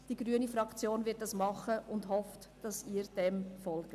Die grüne Fraktion wird dies tun und hofft, dass Sie dem folgen.